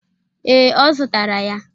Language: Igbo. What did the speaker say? Ee, ọ zụtara ya.